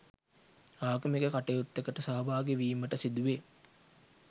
ආගමික කටයුත්තකට සහභාගි වීමට සිදු වේ.